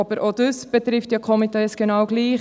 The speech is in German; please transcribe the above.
Auch dies betrifft jedoch die Komitees genau gleich.